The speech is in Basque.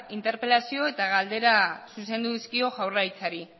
interpelazio eta galdera zuzendu dizkio jaurlaritzari